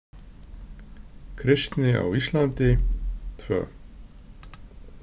Kristni á Íslandi, II.